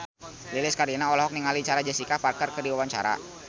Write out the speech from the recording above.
Lilis Karlina olohok ningali Sarah Jessica Parker keur diwawancara